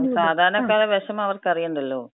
അതെ അതെ, സാധാരണക്കാര വെഷമം അവർക്കറിയണ്ടല്ലോ.